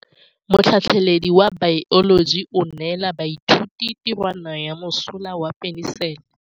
Motlhatlhaledi wa baeloji o neela baithuti tirwana ya mosola wa peniselene.